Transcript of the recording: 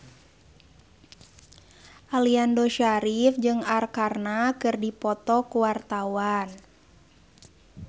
Aliando Syarif jeung Arkarna keur dipoto ku wartawan